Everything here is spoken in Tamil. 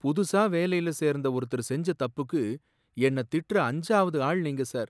புதுசா வேலையில சேர்ந்த ஒருத்தர் செஞ்ச தப்புக்கு என்னத் திட்டுற அஞ்சாவது ஆள் நீங்க சார்.